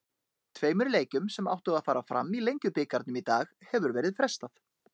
Tveimur leikjum sem áttu að fara fram í Lengjubikarnum í dag hefur verið frestað.